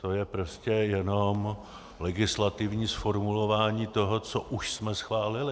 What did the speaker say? To je prostě jenom legislativní zformulování toho, co už jsme schválili.